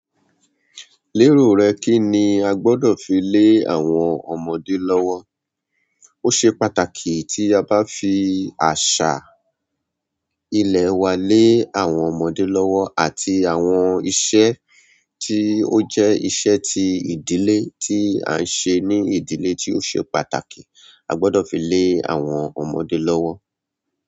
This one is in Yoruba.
Lérò rẹ kí ni a gbọ́dọ̀ fi lé àwọn ọmọdé lọ́wọ́? Ó ṣe pàtàkì tí a bá fi àṣà ilẹ̀ wa lé àwọn ọmọdé lọ́wọ́ àti àwọn iṣẹ́ tí ó jẹ́ iṣẹ́ ti ìdílé tí à ń ṣe ní ìdílé tí ó ṣe pàtàkì. A gbọ́dọ̀ fi lé àwọn ọmọdé lọ́wọ́.